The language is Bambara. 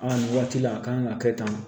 Aa nin waati la a kan ka kɛ tan